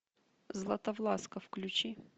златовласка включи